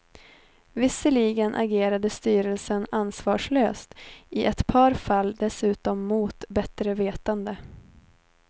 Visserligen agerade styrelsen ansvarslöst, i ett par fall dessutom mot bättre vetande.